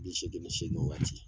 Bi seegin ni seegin waati !